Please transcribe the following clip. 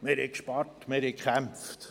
Wir haben gespart, wir haben gekämpft.»